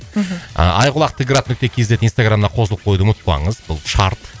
мхм айқұлақ т град нүкте кз инстаграмына қосылып қоюды ұмытпаңыз бұл шарт